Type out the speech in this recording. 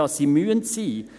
Ja, sie müssen sein.